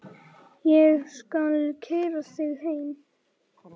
Ég skal keyra þig heim.